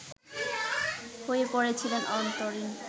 হয়ে পড়েছিলেন অন্তরীণ